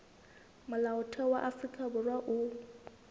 molaotheo wa afrika borwa o